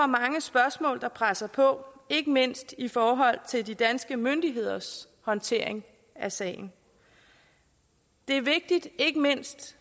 mange spørgsmål der presser sig på ikke mindst i forhold til de danske myndigheders håndtering af sagen det er vigtigt ikke mindst